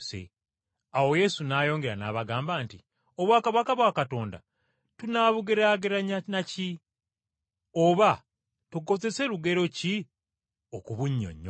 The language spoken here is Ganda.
Awo Yesu n’ayongera n’abagamba nti, “Obwakabaka bwa Katonda tunaabugeraageranya na ki? Oba tukozese lugero ki okubunnyonnyola?